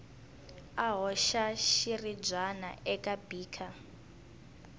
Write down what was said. a hoxa xiribyana eka beaker